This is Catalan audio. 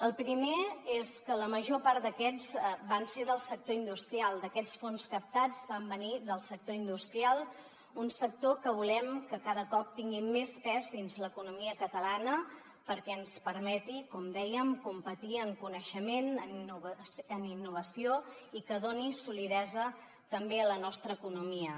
el primer és que la major part d’aquests fons captats van venir del sector industrial un sector que volem que cada cop tingui més pes dins l’economia catalana perquè ens permeti com dèiem competir en coneixement en innovació i que doni solidesa també a la nostra economia